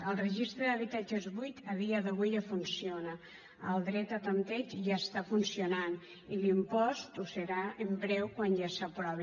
el registre d’habitatges buits a dia d’avui ja funciona el dret a tanteig ja funciona i l’impost ho farà en breu quan ja s’aprovi